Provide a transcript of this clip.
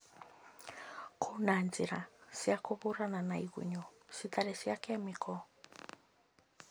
Kwĩna njĩra cia kũhũrana na igunyũ citarĩ cia kemiko?